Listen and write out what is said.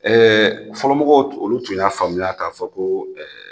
fɔlɔmɔgɔw tun olu tun y'a faamuya k'a fɔ ko